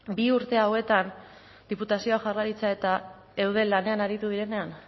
bi urte hauetan diputazioa jaurlaritza eta eudel lanean aritu direnean